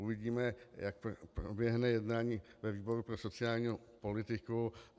Uvidíme, jak proběhne jednání ve výboru pro sociální politiku.